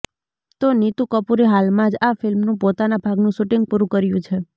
તો નીતૂ કપૂરે હાલમાં જ આ ફિલ્મનું પોતાના ભાગનું શૂટિંગ પૂરું કર્યું છે